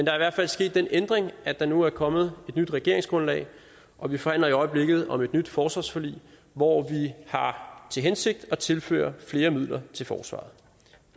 er i hvert fald sket den ændring at der nu er kommet et nyt regeringsgrundlag og vi forhandler i øjeblikket om et nyt forsvarsforlig hvor vi har til hensigt at tilføre flere midler til forsvaret